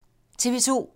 TV 2